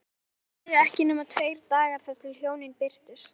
Það liðu ekki nema tveir dagar þar til hjónin birtust.